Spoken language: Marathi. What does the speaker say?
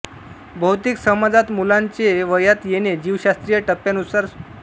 बहुतेक समाजांत मुलाचे वयात येणे जीवशास्त्रीय टप्प्यांनुसार उदा